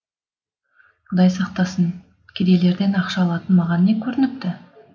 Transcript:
құдай сақтасын кедейлерден ақша алатын маған не көрініпті